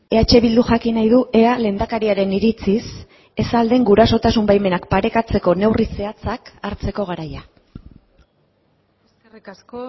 eh bilduk jakin nahi du ea lehendakariaren iritziz ez al den gurasotasun baimenak parekatzeko neurri zehatzak hartzeko garaia eskerrik asko